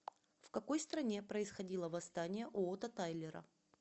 в какой стране происходило восстание уота тайлера